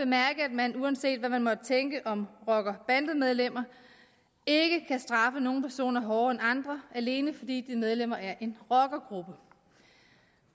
man uanset hvad man måtte tænke om rocker og bandemedlemmer ikke kan straffe nogle personer hårdere end andre alene fordi de er medlemmer af en rockergruppe